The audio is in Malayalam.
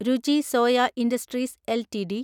രുചി സോയ ഇൻഡസ്ട്രീസ് എൽടിഡി